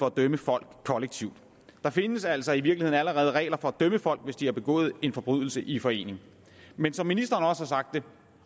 at dømme folk kollektivt der findes altså i virkeligheden allerede regler for at dømme folk hvis de har begået en forbrydelse i forening men som ministeren har sagt det